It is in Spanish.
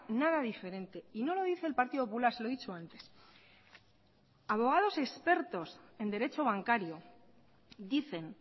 nada diferente y no lo dice el partido popular se lo he dicho antes abogados expertos en derecho bancario dicen